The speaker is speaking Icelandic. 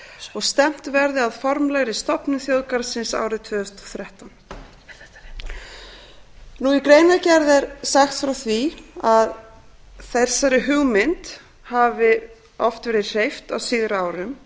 og stefnt verði að formlegri stofnun þjóðgarðsins árið tvö þúsund og þrettán í greinargerð er sagt frá því að þeirri hugmynd hafi oft verið hreyft á síðari árum